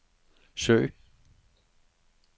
søg